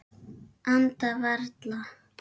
Anda varla.